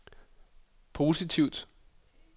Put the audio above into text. positivt